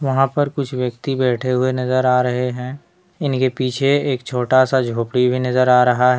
वहां पे कुछ व्यक्ति बैठे हुवे नजर आ रहे हैं इनके पीछे एक छोटा सा झोपड़ी भी नजर आ रहा है।